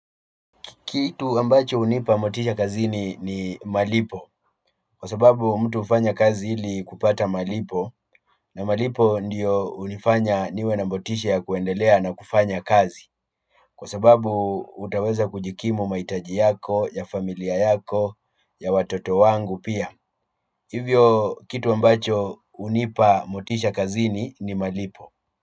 Kitu ambacho hunipa motisha kazini ni malipo kwa sababu mtu hufanya kazi ili kupata malipo. Na malipo ndiyo hunifanya niwe na motisha ya kuendelea na kufanya kazi kwa sababu utanaweza kujikimu mahitaji yako, ya familia yako ya watoto wangu pia. Hivyo kitu ambacho hunipa motisha kazini ni malipo.